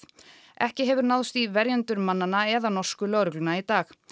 ekki hefur náðst í verjendur mannanna eða norsku lögregluna í dag